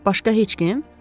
Başqa heç kim?